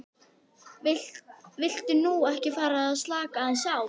Viltu nú ekki fara að slaka aðeins á!